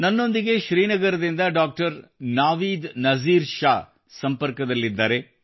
ನನ್ನೊಂದಿಗೆ ಶ್ರೀನಗರದಿಂದ ಡಾಕ್ಟರ್ ನಾವೀದ್ ನಜೀರ್ ಶಾ ಸಂಪರ್ಕದಲ್ಲಿದ್ದಾರೆ